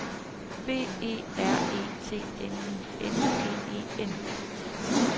B E R E T N I N G E N